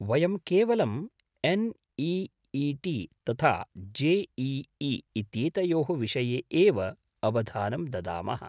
वयं केवलम् एन्.ई.ई.टी. तथा जे.ई.ई. इत्येतयोः विषये एव अवधानं ददामः।